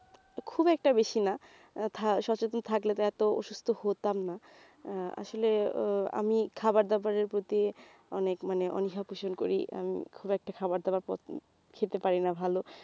খুব একটা বেশি না আহ ~ সচেতন থাকলে তো এত অসুস্থ্য হতাম না আহ আসলে আহ খাবার দাবারের প্রতি অনেক মানে অনীহা পোষণ করি আমি খুব একটা খাবার দাবার খেতে পারিনা ভালো